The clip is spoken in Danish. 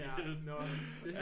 Hjælpe